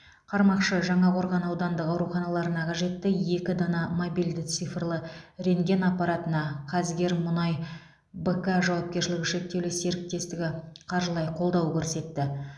қармақшы жаңақорған аудандық ауруханаларына қажетті екі дана мобильді цифрлы рентген аппаратына қазгермұнай бк жауапкершілігі шектеулі серіктестігі қаржылай қолдау көрсетті